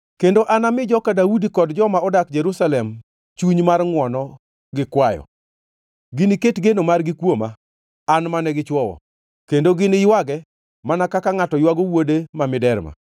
“Kendo anami joka Daudi kod joma odak Jerusalem chuny mar ngʼwono gi kwayo. Giniket geno margi kuoma, an mane gichwowo, kendo giniywage mana kaka ngʼato ywago wuode ma miderma.